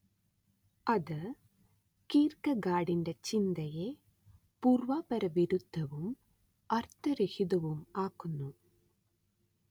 അത് കീർ‌ക്കെഗാഡിന്റെ ചിന്തയെ പൂർവാപരവിരുദ്ധവും അർത്ഥരഹിതവുമാക്കുന്നു